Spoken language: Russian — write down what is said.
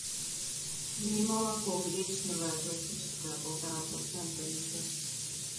немолоко гречневое классическое полтора процента литр